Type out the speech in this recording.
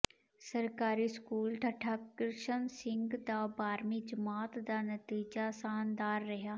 ਸਰਕਾਰੀ ਸਕੂਲ ਠੱਠਾ ਕਿਸ਼ਨ ਸਿੰਘ ਦਾ ਬਾਰ੍ਹਵੀਂ ਜਮਾਤ ਦਾ ਨਤੀਜਾ ਸ਼ਾਨਦਾਰ ਰਿਹਾ